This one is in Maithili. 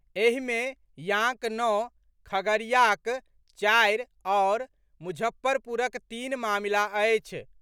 एहि मे याँक नओ, खगड़ियाक चारि आओर मुजफ्फरपुरक तीन मामिला अछि।